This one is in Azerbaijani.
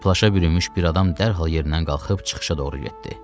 Plaşə bürünmüş bir adam dərhal yerindən qalxıb çıxışa doğru getdi.